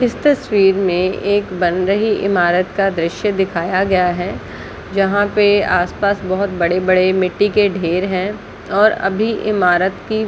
इस तस्वीर में एक बन रही ईमारत का दृश्य दिखाया गया है जहाँ पे आसपास बहुत बड़े -बड़े मिटटी के ढेर है और अभी ईमारत की--